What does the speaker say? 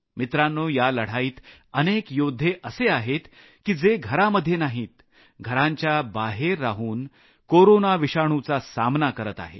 मित्रांनो या लढाईत अनेक योद्धे असे आहेत की जे घरांमध्ये नाहीत घरांच्या बाहेर राहून कोरोना विषाणुचा सामना करत आहेत